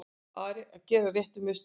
Að gera réttu mistökin